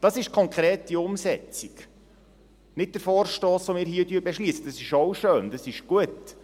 Das ist die konkrete Umsetzung, nicht der Vorstoss, den wir hier beschliessen, das ist auch schön, das ist gut.